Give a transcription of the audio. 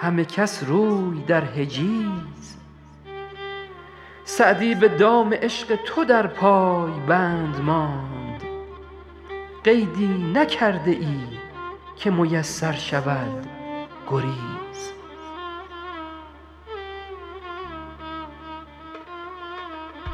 همه کس روی در حجیز سعدی به دام عشق تو در پای بند ماند قیدی نکرده ای که میسر شود گریز